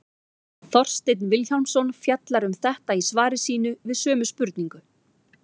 Þorsteinn Vilhjálmsson fjallar um þetta í svari sínu við sömu spurningu.